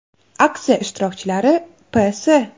Aksiya ishtirokchilari P.S.